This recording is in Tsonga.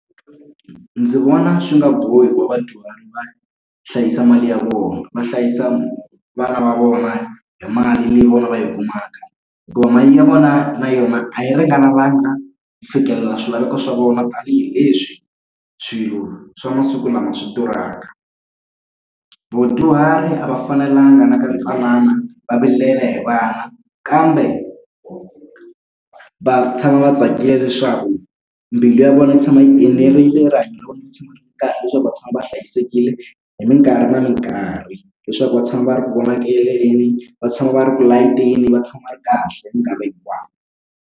Ndzi vona swi nga bohi wa vadyuhari va hlayisa mali ya vona va hlayisa vana va vona hi mali leyi vona va yi kumaka. Hikuva mali ya vona na yona a yi ringanelangi na ku fikelela swilaveko swa vona tanihileswi swilo swa masiku lama swi durhaka. Vadyuhari a va fanelanga na ka ntsanana va vilela hi vana kambe va tshama va tsakile leswaku, mbilu ya vona yi tshama yi enerile, rihanyo ra vona ri tshama ri ri kahle leswaku va tshama va hlayisekile hi mikarhi na mikarhi. Leswaku va tshama va ri ku , va tshama va ri ku layiteni va tshama va ri kahle hi mikarhi hinkwayo.